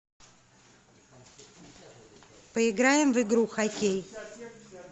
поиграем в игру хоккей